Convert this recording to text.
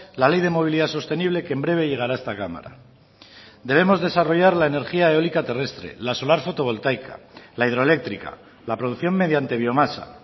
la ley de movilidad sostenible que en breve llegará a esta cámara debemos desarrollar la energía eólica terrestre la solar fotovoltaica la hidroeléctrica la producción mediante biomasa